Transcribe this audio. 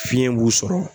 Fiɲɛ b'u sɔrɔ